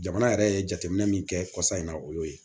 Jamana yɛrɛ ye jateminɛ min kɛ kɔsɔn in na o y'o ye